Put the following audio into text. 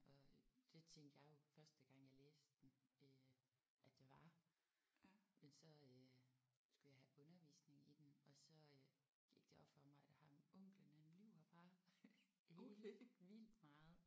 Og det tænkte jeg jo første gang jeg læste den øh at det var men så øh skulle jeg have undervisning i den og så øh gik det op for mig at ham onklen han lyver bare helt vildt meget